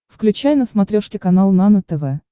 включай на смотрешке канал нано тв